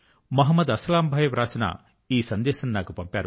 మహమ్మద్ అస్లమ్ భాయి వ్రాసిన ఈ సందేశం నాకు పంపారు